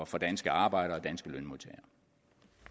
for danske arbejdere